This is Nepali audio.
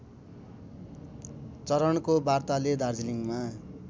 चरणको वार्ताले दार्जिलिङमा